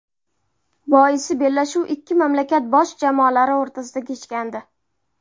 Boisi bellashuv ikki mamlakat bosh jamoalari o‘rtasida kechgandi.